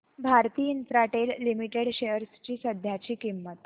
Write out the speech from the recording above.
Bharti Infratel limited shares ची सध्याची किंमत